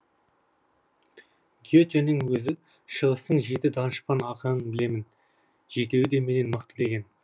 ге тенің өзі шығыстың жеті данышпан ақынын білемін жетеуі де менен мықты деген